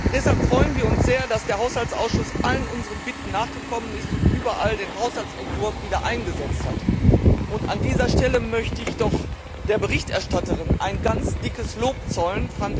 Deshalb freuen wir uns sehr, dass der Haushaltsausschuss allen unseren Bitten nachgekommen ist und überall die Mittel des Haushaltsentwurfs wieder eingesetzt hat. An dieser Stelle möchte ich doch der Berichterstatterin ein ganz dickes Lob zollen.